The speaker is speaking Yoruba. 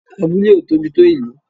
Abúlé ò tóbi tó Ìlú